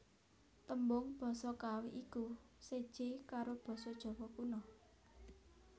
Tembung basa Kawi iku séjé karo basa Jawa Kuna